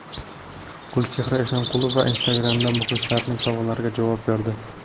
Gulchehra Eshonqulova Instagram’da muxlislarining savollariga javob berdi.